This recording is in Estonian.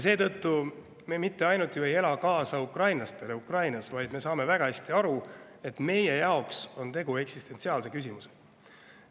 Seetõttu me ei ela ainult kaasa ukrainlastele Ukrainas, vaid me saame väga hästi aru, et meie jaoks on tegu eksistentsiaalse küsimusega.